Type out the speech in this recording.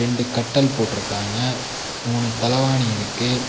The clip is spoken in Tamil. ரெண்டு கட்டல் போட்ருக்காங்க மூணு தலவாணி இருக்கு.